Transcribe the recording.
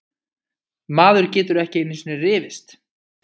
Maður getur ekki einusinni rifist!